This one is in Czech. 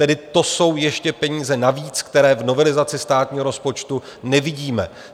Tedy to jsou ještě peníze navíc, které v novelizaci státního rozpočtu nevidíme.